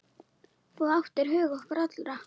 Þú áttir hug okkar allra.